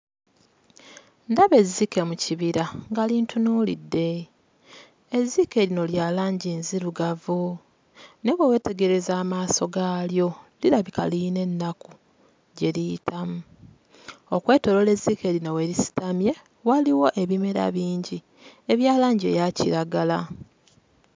Ndaba ezzike mu kibira nga lintunuulidde. Ezzike lino lya langi nzirugavu naye bwe weetegereza amaaso gaalyo, lirabika liyina ennaku gye liyitamu. Okwetooloola ezzike lino we lisitamye waliwo ebimera bingi ebya langi eya kiragala.